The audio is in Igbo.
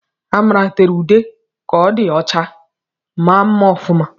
Amara tere ude ka o di ọcha, maa mma ọfuma